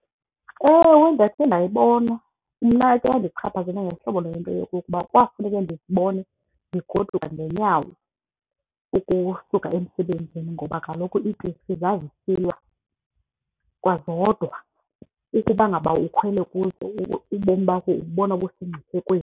Ewe, ndakhe ndayibona. Mna ke yandichaphazela ngohlobo lento yokokuba kwafuneke ndizibone ndigoduka ngenyawo ukusuka emsebenzini ngoba kaloku iiteksi zazisilwa kwazodwa. Uthi uba ngaba ukhwele kuzo ubomi bakho ububona busemngciphekweni.